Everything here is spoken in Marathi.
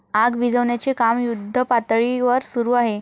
आग विझवण्याचे काम युद्धपातळीवर सुरू आहे.